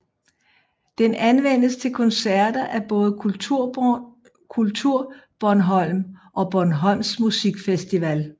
Den anvendes til koncerter af både KulturBornholm og Bornholms Musikfestival